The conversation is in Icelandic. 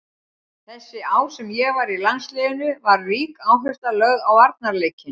Þessi ár sem ég var í landsliðinu var rík áhersla lögð á varnarleikinn.